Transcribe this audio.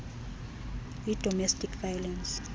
yi domestic violence